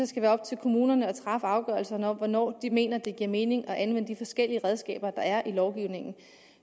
skal være op til kommunerne at træffe afgørelserne om hvornår de mener det giver mening at anvende de forskellige redskaber der er i lovgivningen